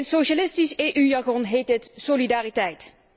In socialistisch EU jargon heet dit solidariteit.